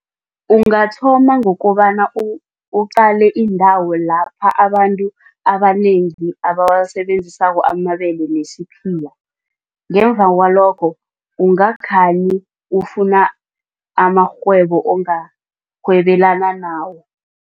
Ungathoma ngokobana uqale iindawo lapha abantu abanengi abawasebenzisako amabele nesiphila. Ngemva kwalokho, ungakhani ufuna amarhwebo ongarhwebelana nawo.